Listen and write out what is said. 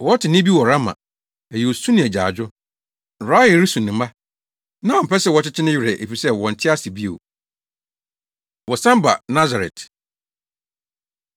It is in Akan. “Wɔte nne bi wɔ Rama. Ɛyɛ osu ne agyaadwo; Rahel resu ne mma; na ɔmpɛ sɛ wɔkyekye ne werɛ, efisɛ wɔnte ase bio.” Wɔsan Ba Nasaret